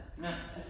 Ja